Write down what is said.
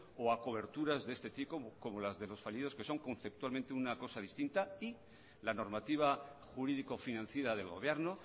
o a coberturas de este tipo como las de los fallidos que son conceptualmente una cosa distinta y la normativa jurídico financiera del gobierno